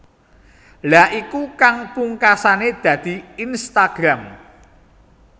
Lha iku kang pungkasane dadi Instagram